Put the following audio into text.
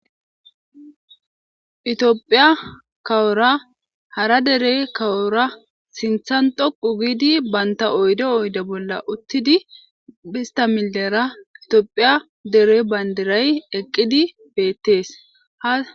Tophiya kawora hara dere kawora sinthan dhoqu giidi baynta oydo oyde bolla uttidi bhista millera itiophiya dere bayndiray eqqidi beettees